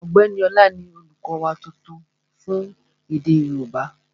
Ọ̀gbẹ́ni Ọlá ni olùkọ́ wa tuntun fún èdè yóòbá